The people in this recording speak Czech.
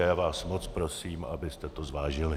A já vás moc prosím, abyste to zvážili.